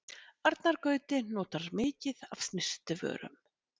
Arnar Gauti notar mikið af snyrtivörum